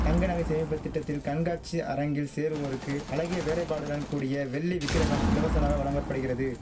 தங்க நகை சேமிப்பு திட்டத்தில் கண்காட்சி அரங்கில் சேர்வோருக்கு அழகிய வேலைபாடுடன் கூடிய வெள்ளி விக்கிரஹம் இலவசமாக வழங்க படுகிறது